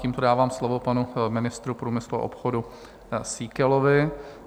Tímto dávám slovo panu ministru průmyslu a obchodu Síkelovi.